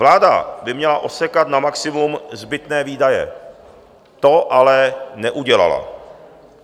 Vláda by měla osekat na maximum zbytné výdaje, to ale neudělala.